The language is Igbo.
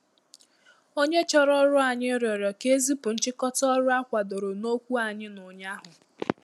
Onye chọrọ ọrụ ànyị rịọrọ ka e zipụ nchịkọta ọrụ a kwadoro n’okwu anyị n’ụnyahụ